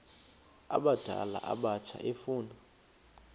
abadala abatsha efuna